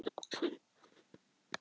Ferguson fékk viðvörun